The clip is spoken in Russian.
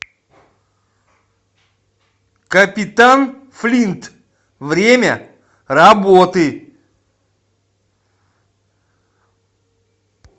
капитан флинт время работы